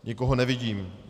Nikoho nevidím.